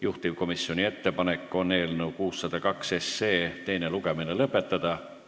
Juhtivkomisjoni ettepanek on eelnõu 602 teine lugemine lõpetada.